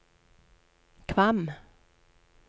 Kvam